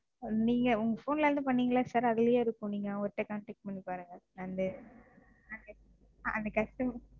நீங்க உங்க Phone ல இருந்து பண்ணீங்கல்ல Sir அதுலேயே இருக்கும். நீங்க அவர்ட்ட Contact பண்ணி பாருங்க. நன்றி அந்த Customer,